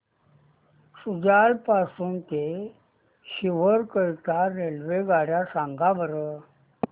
शुजालपुर पासून ते सीहोर करीता रेल्वेगाड्या सांगा बरं